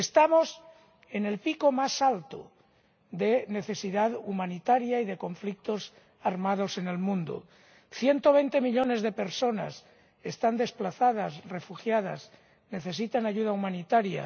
Estamos en el pico más alto de necesidad humanitaria y de conflictos armados en el mundo 120 millones de personas están desplazadas, refugiadas, necesitan ayuda humanitaria.